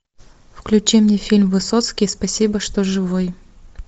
включи мне фильм высоцкий спасибо что живой